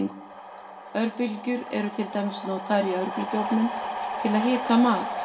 Örbylgjur eru til dæmis notaður í örbylgjuofnum til að hita mat.